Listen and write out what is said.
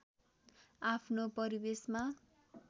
आफ्नो परिवेशमा